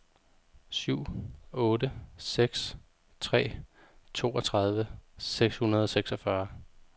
syv otte seks tre toogtredive seks hundrede og seksogfyrre